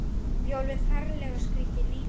Já, alveg ferlega skríkti Nína.